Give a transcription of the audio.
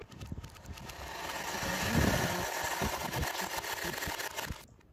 закажи мне пожалуйста средство для чистки плиты